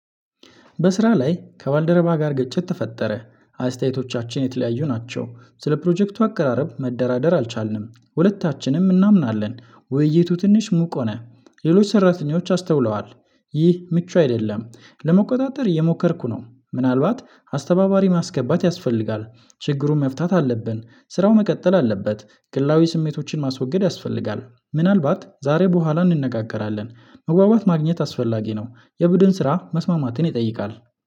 በስራ ላይ ከባልደረባ ጋር ግጭት ተፈጠረ። አስተያየቶቻችን የተለያዩ ናቸው ስለ ፕሮጀክቱ አቀራረብ መደራደር አልቻልንም። ሁለታችንም እናምናለን ውይይቱ ትንሽ ሙቅ ሆነ። ሌሎች ሰራተኞች አስተውለዋል። ይህ ምቹ አይደለም። ለመቆጣጠር እየሞከርኩ ነው ምናልባት አስተባባሪ ማስገባት ያስፈልጋል። ችግሩን መፍታት አለብን። ስራው መቀጠል አለበት። ግላዊ ስሜቶችን ማስወገድ ያስፈልጋል። ምናልባት ዛሬ በኋላ እንነጋገራለን። መግባባት ማግኘት አስፈላጊ ነው። የቡድን ስራ መስማማትን ይጠይቃል